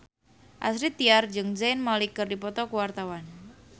Astrid Tiar jeung Zayn Malik keur dipoto ku wartawan